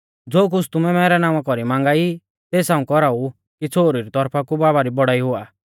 ज़ो कुछ़ तुमै मैरै नावां कौरी मांगा ई तेस हाऊं कौराऊ कि छ़ोहरु री तौरफा कु बाबा री बौड़ाई हुआ